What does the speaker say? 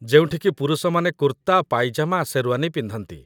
ଯେଉଁଠିକି ପୁରୁଷମାନେ କୁର୍ତ୍ତା, ପାଇଜାମା, ଶେର୍ୱାନୀ ପିନ୍ଧନ୍ତି